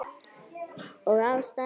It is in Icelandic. Og ástæðan?